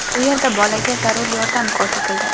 U yerda bolaga zarur yordam ko‘rsatildi.